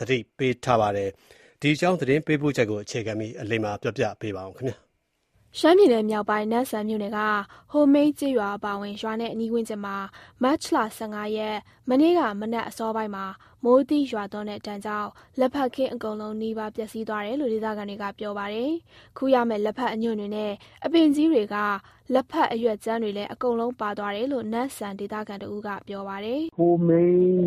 သတိပေးထားပါတယ်။ ဒီအကြောင်း သတင်းပေးပို့ချက်ကို အခြေခံပြီး အလိမ္မာက ပြောပြမှာပါ။ ရှမ်းပြည်နယ်မြောက်ပိုင်း၊ နမ့်ဆန်မြို့နယ်က ဟိုမိန်းကျေးရွာ အပါအဝင် ရွာရဲ့အနီးဝန်းကျင်မှာ မတ်လ ၁၅ ရက်၊ မနေ့က မနက်အစောပိုင်းမှာ မိုးသီးရွာသွန်းတဲ့ဒဏ်ကြောင့် လက်ဖက်ခင်း အကုန်လုံးနီးပါး ပျက်စီးသွားတယ်လို့ ဒေသခံတွေက ပြောပါတယ်။ ခူးရမယ့် လက်ဖက်အညွန့်တွေနဲ့ အပင်ကြီးတွေက လက်ဖက်အရွက်ကြမ်းတွေလည်း အကုန်လုံး ပါသွားတယ်လို့ နမ့်ဆန်ဒေသခံတဦးက ပြောပါတယ်။ "ဟိုမိန်း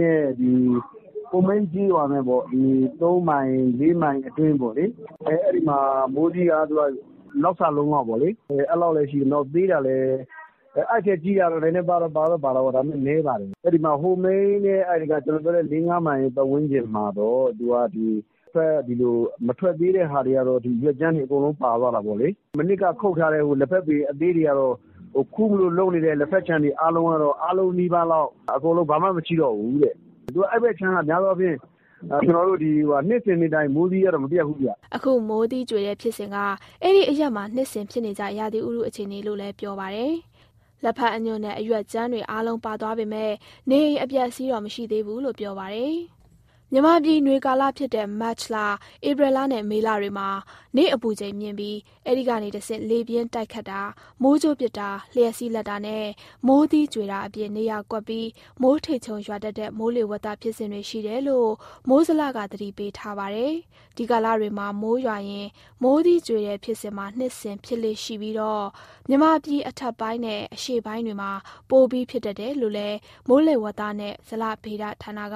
ကျေးရွာနဲ့ ၃မိုင်၊ ၄မိုင် အတွင်းပေါ့လေ။ အဲဒီမှာ မိုးသီးက လောက်စလုံးလောက်ပေါ့၊ သေးတာလည်းရှိတယ်၊ အဲဒီထက်ကြီးတာတော့ နည်းနည်းပါးပါးတော့ ပါတာပေါ့။ အဲဒီ ဟိုမိန်းနဲ့ ၄၊ ၅ မိုင်ဝန်းကျင်က မထွက်သေးတာတွေကတော့ ရွက်ကြမ်းတွေအကုန်လုံး ပါသွားတာပေါ့လေ။ မနှစ်က ခုတ်ထားတဲ့လက်ဖက်ပင် အသေးတွေကတော့ ခူးမလို့လုပ်နေတဲ့ လက်ဖက်ခြံတွေ အားလုံးနီးပါးကတော့ အကုန်လုံး ဘာမှမရှိတော့ဘူး။ အဲဒီဘက်ခြမ်းက များသောအားဖြင့် နှစ်စဉ်နှစ်တိုင်း မိုးသီးကတော့ မပြတ်ဘူးဗျ။" အခုလို မိုးသီးကြွေတဲ့ဖြစ်စဉ်က အဲဒီအရပ်မှာ နှစ်စဉ်ဖြစ်နေကြ ရာသီဥတု အခြေအနေလို့လည်း ပြောပါတယ်။ လက်ဖက်အညွန့်နဲ့ အရွက်ကြမ်းတွေ အားလုံးပါသွားပေမယ့် နေအိမ်အပျက်အစီးတော့ မရှိသေးဘူးလို့ ပြောပါတယ်။ မြန်မာပြည် နွေကာလဖြစ်တဲ့ မတ်၊ ဧပြီနဲ့ မေလတွေမှာ နေ့အပူချိန်မြင့်ပြီး အဲဒီကနေတဆင့် လေပြင်းတိုက်ခတ်တာ၊ မိုးကြိုးပစ်တာ၊ လျှပ်စီးလက်တာနဲ့ မိုးသီးကြွေတာအပြင် နေရာကွက်ပြီး မိုးထစ်ချုန်းရွာတတ်တဲ့ မိုးလေဝသဖြစ်စဉ်တွေ ရှိတယ်လို့ မိုးဇလက သတိပေးထားပါတယ်။ ဒီကာလတွေမှာ မိုးရွာရင် မိုးသီးကြွေတဲ့ဖြစ်စဉ်က နှစ်စဉ်ဖြစ်လေ့ရှိပြီးတော့ မြန်မာပြည်အထက်ပိုင်းနဲ့ အရှေ့ပိုင်းတွေမှာ ပိုပြီးဖြစ်တတ်တယ်လို့ မိုးလေဝသနဲ့ ဇလဗေဒဌာနက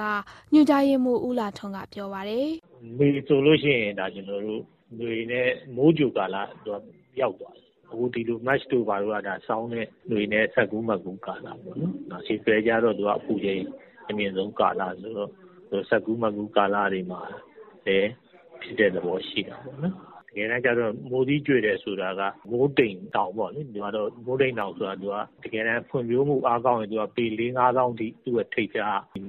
ညွှန်ကြားရေးမှူး ဦးလှထွန်းက ပြောပါတယ်။ "မေလဆိုရင် နွေနဲ့ မိုးကြိုကာလ ရောက်သွားပြီ။ အခု မတ်လက ဆောင်းနဲ့နွေ စပ်ကူးမပ်ကူး ကာလပေါ့။ နောက် ဧပြီကျတော့ အပူချိန် အမြင့်ဆုံး ကာလပေါ့။ ဆိုတော့ စပ်ကူးမပ်ကူး ကာလတွေမှာပဲ ဖြစ်တဲ့သဘော ရှိတာပေါ့နော်။ တကယ်တမ်းကျတော့ မိုးသီးကြွေတယ် ဆိုတာက မိုးတိမ်တောင်ပေါ့လေ၊ သူက ဖွံ့ဖြိုးမှုအားကောင်းရင် သူ့ရဲ့ထိပ်ဖျားက ပေ ၄၊ ၅ သောင်း အထိ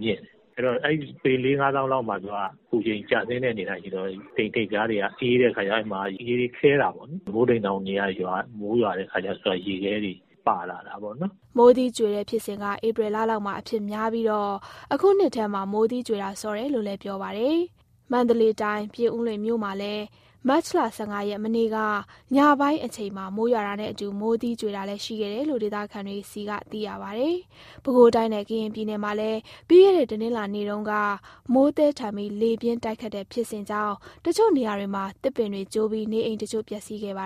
မြင့်တယ်။ အဲတော့ အဲဒီ ပေ ၄၊ ၅ သောင်းမှာ အပူချိန်ကျဆင်းတဲ့ အနေအထားရှိတော့ တိမ်ထိပ်ဖျားတွေက အေးတဲ့အခါကျတော့ ရေတွေခဲတာပေါ့လေ။ မိုးတိမ်တောင်တွေက မိုးရွာတဲ့အခါကျတော့ ရေခဲတွေ ပါလာတာပေါ့နော်။" မိုးသီးကြွေတဲ့ဖြစ်စဉ်က ဧပြီလလောက်မှာ အဖြစ်များပြီးတော့ အခုနှစ်ထဲမှာ မိုးသီးကြွေတာစောတယ်လို့ ပြောပါတယ်။ မန္တလေးတိုင်း၊ ပြင်ဦးလွင်မြို့မှာလည်း မတ်လ ၁၅ ရက်၊ မနေ့က ညပိုင်းအချိန်မှာ မိုးရွာတာနဲ့အတူ မိုးသီးကြွေတာလည်း ရှိခဲ့တယ်လို့ ဒေသခံတွေဆီက သိရပါတယ်။ ပဲခူးတိုင်းနဲ့ ကရင်ပြည်နယ်မှာလည်း ပြီးခဲ့တဲ့ တနင်္လာနေ့တုန်းက မိုးသည်းထန်ပြီး လေပြင်းတိုက်ခတ်တဲ့ဖြစ်စဉ်ကြောင့် တချို့နေရာတွေမှာ သစ်ပင်တွေကျိုးပြီး နေအိမ်တချို့ ပျက်စီးခဲ့ပါ